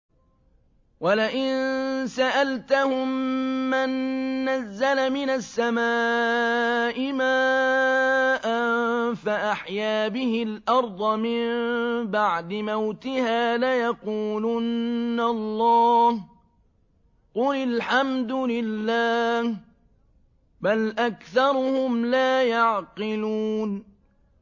وَلَئِن سَأَلْتَهُم مَّن نَّزَّلَ مِنَ السَّمَاءِ مَاءً فَأَحْيَا بِهِ الْأَرْضَ مِن بَعْدِ مَوْتِهَا لَيَقُولُنَّ اللَّهُ ۚ قُلِ الْحَمْدُ لِلَّهِ ۚ بَلْ أَكْثَرُهُمْ لَا يَعْقِلُونَ